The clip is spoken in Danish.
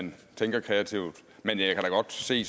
man tænker kreativt men jeg kan godt se